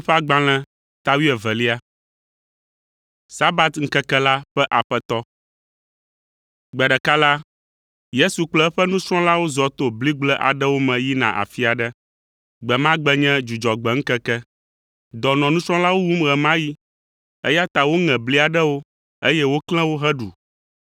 Gbe ɖeka la, Yesu kple eƒe nusrɔ̃lawo zɔ to bligble aɖewo me yina afi aɖe. Gbe ma gbe nye Dzudzɔgbe ŋkeke. Dɔ nɔ nusrɔ̃lawo wum ɣe ma ɣi, eya ta woŋe bli aɖewo, eye woklẽ wo heɖu.